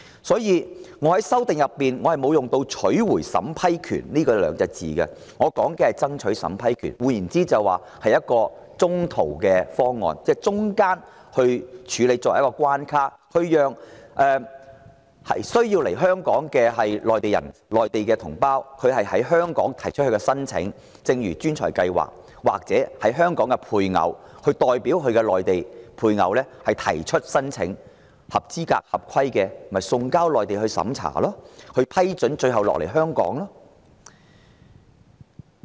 所以，我在修正案中沒有使用"取回審批權"的字眼，而是說"爭取審批權"，換言之就是一個中途方案，即在過程中設一個關卡處理申請，讓需要來港的內地同胞在香港提出申請，一如吸引專才的計劃，或由港人代其內地配偶提出申請，合資格、合規的就送交內地審查，獲批准後就來港。